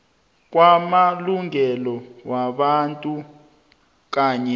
kwamalungelo wabantu kanye